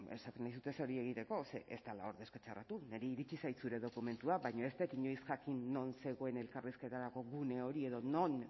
bueno esaten dizut ez hori egite ze ez dela hor deskatxarratu niri iritsi zait zure dokumentua baina ez dut inoiz jakin non zegoen elkarrizketarako gune hori edo non